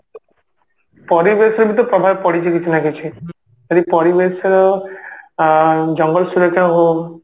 ପରିବେଶରେ ବି ତ ପ୍ରଭାବ ପଡିଛି କିଛି ନା କିଛି ଯଦି ପରିବେଶର ଆ ଜଙ୍ଗଲ ସୁରକ୍ଷା ହଉ